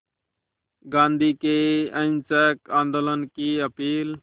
गांधी के अहिंसक आंदोलन की अपील